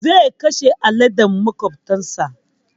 Zai kashe aladen maƙwabtar sa.